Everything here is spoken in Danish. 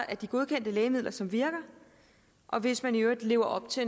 af de godkendte lægemidler som virker og hvis man i øvrigt lever op til